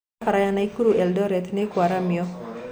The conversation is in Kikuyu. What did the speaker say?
Barabara ya Naikuru-Eldoret nĩĩkwaramio